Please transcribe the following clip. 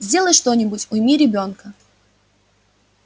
сделай что-нибудь уйми ребёнка